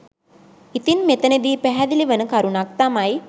ඉතින් මෙතැනදී පැහැදිලි වන කරුණක් තමයි